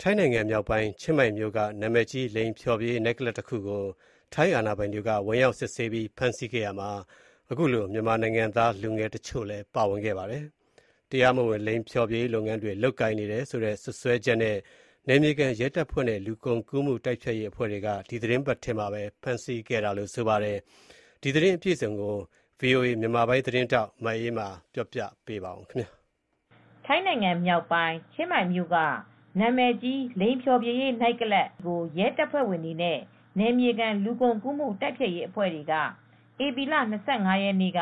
ထိုင်းနိုင်ငံ မြောက်ပိုင်း ချင်းမိုင်မြို့က နာမည်ကြီး လိင်ဖျော်ဖြေရေး နိုက်ကလပ်ကို ထိုင်းအာဏာပိုင်တွေ ဝင်ရောက်စစ်ဆေးပြီး ဖမ်းဆီးခဲ့ရာမှာ မြန်မာနိုင်ငံသား တချို့လည်း ပါဝင်ခဲ့ပါတယ်။ တရားမဝင် လိင်ဖျော်ဖြေရေး လုပ်ငန်းတွေ လုပ်ကိုင်နေတယ်ဆိုတဲ့ စွပ်စဲချက်နဲ့ နယ်မြေခံ ရဲတပ်ဖွဲ့နဲ့ လူကုန်ကူးမှု တိုက်ဖျက်ရေးအဖွဲ့တွေက ဒီသီတင်းပတ်ထဲမှာပဲ ဖမ်းဆီးခဲ့တာပါ။အပြည့်အစုံကို ဗွီအိုအေ မြန်မာပိုင်းသတင်းထောက် မအေးအေးမာက သတင်းပေးပို့ထားပါတယ်။ ထိုင်းနိုင်ငံ မြောက်ပိုင်း ချင်းမိုင်မြို့က နာမည်ကြီး လိင်ဖျော်ဖြေရေး နိုက်ကလပ်ကို ရဲတပ်ဖွဲ့တွေနဲ့ နယ်မြေ ခံ လူကုန်ကူးမှုတိုက်ဖျက်ရေးအဖွဲ့တွေက ဧပြီလ ၂၅ရက်နေ့ က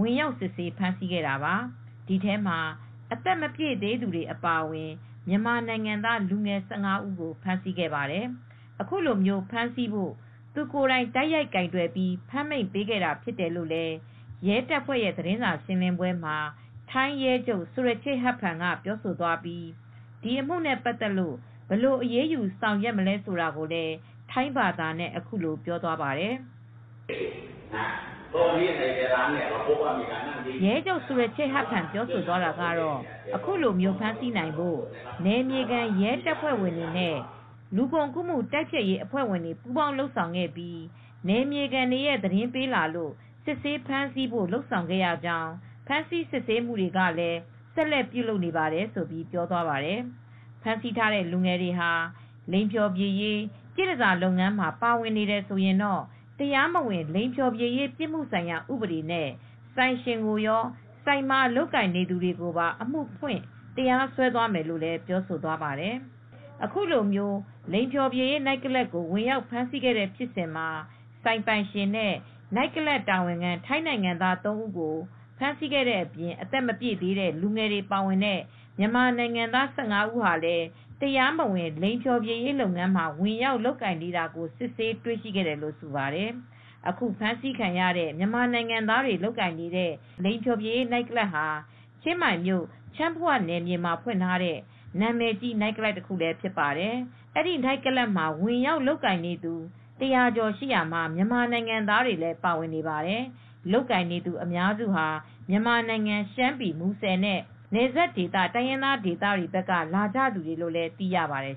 ဝင်ရောက်စစ်ဆေးဖမ်းဆီးခဲ့တာပါ၊ ဒီထဲမှာ အသက်မပြည့်သေးသူတွေအပါအဝင် မြန်မာနိုင်ငံသားလူငယ် ၁၅ ဦးကိုဖမ်းဆီးခဲ့ပါတယ်။ အခုလို ဖမ်းဆီးဖို့ သူကိုယ်တိုင် တိုက်ရိုက်ကိုင်တွယ်ပြီး ဖမ်းမိန့်ပေးခဲ့တာဖြစ်တယ်လို့ ရဲတပ်ဖွဲ့ သတင်းစာရှင်းလင်းပွဲမှာ ထိုင်းရဲချုပ် ဆူရချေ့ ဟတ်ဖန် Surachet Hakpan က ပြောသွားပြီး ဒီအမှုနဲ့ ပတ်သက်လို့ဘယ်လိုအရေးယူဆောင်ရွက်မလဲဆိုတာကိုလည်း ထိုင်းဘာသာနဲ့ပြောသွားပါတယ်။ ရဲချုပ် ဆူရချေ့ ပြောသွားတာကတော့ ခုလို ဖမ်းဆီးနိုင်ဖို့ နယ်မြေခံရဲတပ်ဖွဲ့နဲ့ လူကုန်တိုက်ဖျက်ရေးတွေပုးပေါင်း လုပ်ဆောင်ခဲ့ပြီး နယ်မြေခံတွေရဲ့သတင်းပေးလာလို့ စစ်ဆေးဖမ်းဆီးဖို့ လုပ်ဆောင်ခဲ့ရကြောင်း ဖမ်းဆီးစစ်ဆေးမှုတွေလည်း ဆက်လက်ပြုလပ်နေပါတယ်။ ဖမ်းဆီးထားတဲ့လူငယ်တွေဟာ လိင်ဖျော်ဖြေရေး ပြည့်တန်ဆာ လုပ်ငန်းမှာ ပါဝင်နေတယ်ဆိုရင်တော့ တရားမဝင်လိင်ဖျော်ဖြေရေးပြစ်မှုဆိုင်ရာ ဥပဒေနဲ့ ဆိုင်ရှင်ကိုရော ဆိုင်မှာလုပ်ကိုင်နေသူတွေပါ အမှုဖွင့်တရားစွဲသွားမယ်လို့ ပြောဆိုသွားပါတယ်။ အခုလို လိင်ဖျော်ဖြေရေး နိုက်ကလပ်ကို ဝင်ရောက်ဖမ်းဆီးတဲ့ဖြစ်စဉ်မှာ ဆိုင်ပိုင်ရှင် နဲ့ နိုက်ကလပ်တာဝန်ခံ ထိုင်းနိုင်ငံသားသုံးဦးကို ဖမ်းဆီးခံရတဲ့အပြင် အသက် မပြည့်သေးတဲ့ လူငယ်တွေပါဝင်တဲ့ မြန်မာနိုင်ငံသား ၁၅ ဦးလည်း တရားမဝင် လိင်ဖျော်ဖြေရေးလုပ်ငန်းမှာဝင်ရောက်လုပ်ကိုင်နေတာကို စစ်ဆေးတွေရှိခဲ့တယ်လို့ ဆိုပါတယ်။ အခုဖမ်းဆီးခံရတဲ့ မြန်မာနိုင်ငံသားတွေလုပ်ကိုင်နေတဲ့ လိင်ဖျော်ဖြေရေး နိုက်ကလပ်ဟာ ချင်းမိုင်မြို့ ချန်းဖုဝါ နယ်မြေမှာဖွင့်ထားတဲ့ နာမည်ကြီး နိုက်ကလပ်တခုဖြစ်ပါတယ်။ ဒီနိုက်ကလပ်မှာ ဝင်ရောက် လုပ်ကိုင်နေတဲ့သူ ၁၀၀ ကျော်ရှိရာမှာ မြန်မာနိုင်ငံသားတွေလည်း ပါဝင်ပါတယ်။ လုပ်ကိုင်နေသူအများစုဟာ မြန်မာနိုင်ငံ ရှမ်းပြည်နယ် မူဆယ် နဲ့ နယ်စပ်ဒေသ တိုင်းရင်းသားတွေဒေသဘက်က လာကြသူတွေလို့လည်းသိရှိရပါတယ်